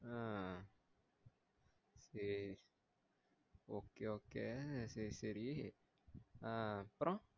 ஆஹ் சேரி okay okay சேரி சேரி ஆஹ் அப்ரோ